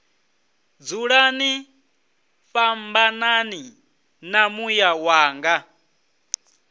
dzulani fhambanani na muya wanga